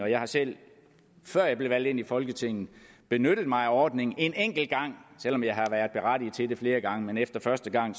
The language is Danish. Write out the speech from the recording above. jeg har selv før jeg blev valgt ind i folketinget benyttet mig af ordningen en enkelt gang selv om jeg har været berettiget til det flere gange men efter første gang